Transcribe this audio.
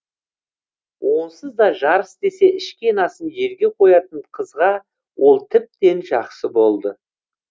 онсызда жарыс десе ішкен асын жерге қоятын қызға ол тіптен жақсы болды